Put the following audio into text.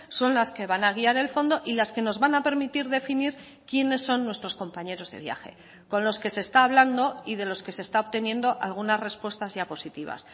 son las que van a guiar el fondo y las que nos van a permitir definir quiénes son nuestros compañeros de viaje con los que se está hablando y de los que se está obteniendo algunas respuestas ya positivas